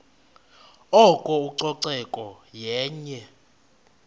oko ucoceko yenye